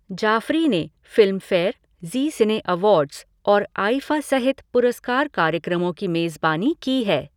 जाफ़री ने Filmfare, Zee Cine Awards और IIFA सहित पुरस्कार कार्यक्रमों की मेज़बानी की है।